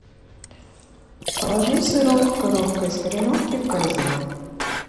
положи сырок коровка из кореновки в корзину